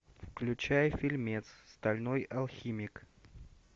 включай фильмец стальной алхимик